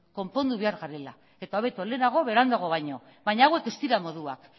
konpondu behar garela eta hobeto lehenago beranduago baino baina hauek ez dira moduak